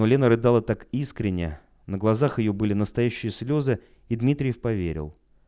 но лена рыдала так искренне на глазах её были настоящие слезы и дмитриев поверил